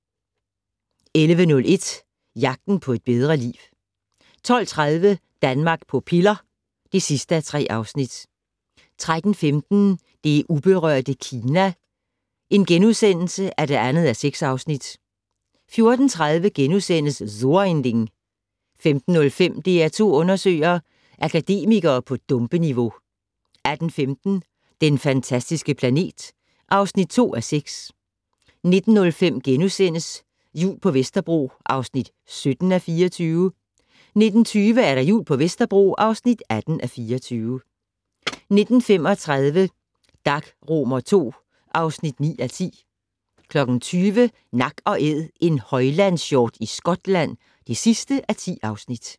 11:01: Jagten på et bedre liv 12:30: Danmark på piller (3:3) 13:15: Det uberørte Kina (2:6)* 14:30: So ein Ding * 15:05: DR2 undersøger: Akademikere på dumpeniveau 18:15: Den fantastiske planet (2:6) 19:05: Jul på Vesterbro (17:24)* 19:20: Jul på Vesterbro (18:24) 19:35: Dag II (9:10) 20:00: Nak & Æd - en højlandshjort i Skotland (10:10)